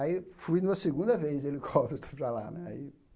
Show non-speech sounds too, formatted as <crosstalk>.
Aí fui numa segunda vez de helicóptero <laughs> para lá né aí.